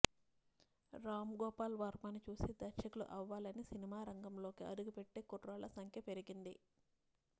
రామ్ గోపాల్ వర్మని చూసి దర్శకులు అవ్వాలని సినిమా రంగంలోకి అడుగుపెట్టే కుర్రాళ్ల సంఖ్య పెరిగింది